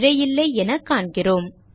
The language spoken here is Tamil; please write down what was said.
பிழை இல்லை என காண்கிறோம்